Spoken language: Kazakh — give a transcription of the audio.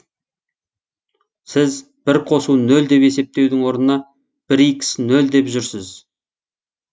сіз бір қосу нөл деп есептеудің орнына бір икс нөл деп жүрсіз